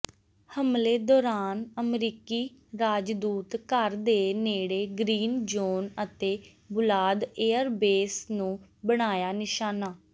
ਹਮਲੇ ਦੌਰਾਨ ਅਮਰੀਕੀ ਰਾਜਦੂਤ ਘਰ ਦੇ ਨੇੜੇ ਗ੍ਰੀਨ ਜ਼ੋਨ ਅਤੇ ਬੁਲਾਦ ਏਅਰਬੇਸ ਨੂੰ ਬਣਾਇਆ ਨਿਸ਼ਾਨਾ